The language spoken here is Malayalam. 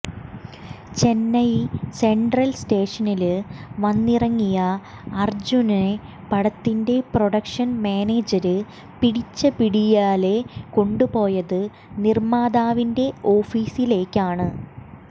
ചെന്നൈ സെന്ട്രല് സ്റ്റേഷനില് വന്നിറങ്ങിയ അര്ജുനനെ പടത്തിന്റെ പ്രൊഡക്ഷന് മാനേജര് പിടിച്ച പിടിയാലേ കൊണ്ടുപോയത് നിര്മാതാവിന്റെ ഓഫീസിലേക്ക്